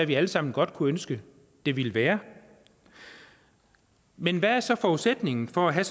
vi alle sammen godt kunne ønske det ville være men hvad er så forudsætningen for at have